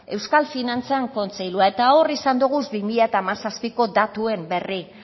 euskal finantzan kontseilua eta hor izan doguz bi mila hamazazpiko datuen berri